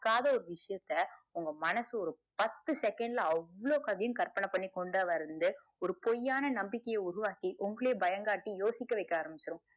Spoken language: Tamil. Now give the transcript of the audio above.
பாக்காத ஒரு விசயத்த உங்க மனசு பத்து second ல அவ்ளோ கதையும் கற்பனை பண்ணி கொண்டு வந்து ஒரு பொய் ஆன நம்பிக்கைய உருவாக்கி உங்களையே பயம் காட்டி யோசிக்க வச்சிடும்